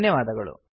ಧನ್ಯವಾದಗಳು